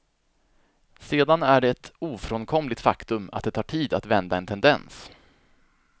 Sedan är det ett ofrånkomligt faktum att det tar tid att vända en tendens.